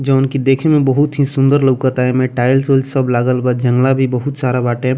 जौन की देखे मे बहुत ही सूंदर लउकता एमें टाइल्स - उइल्स सब लागल बा जंगला भी बहुत सारा बाटे।